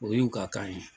O y'u ka kan ye